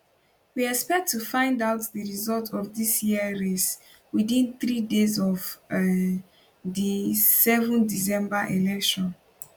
we expect to find out di results of dis year race within three days of um di 7 december election